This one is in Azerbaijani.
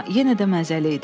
Amma yenə də məzəli idi.